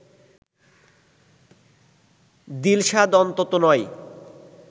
দিলশাদ অন্তত নয়